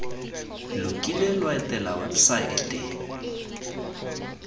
lo kile lwa etela websaete